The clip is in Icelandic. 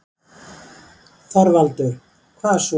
ÞORVALDUR: Hvað svo?